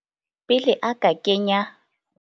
Pele a ka kenya.